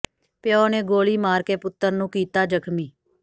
ਪਿਓ ਨੇ ਗੋਲੀ ਮਾਰ ਕੇ ਪੁੱਤਰ ਨੂੰ ਕੀਤਾ ਜ਼ਖ਼ਮੀ